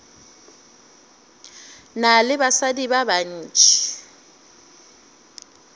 na le basadi ba bantši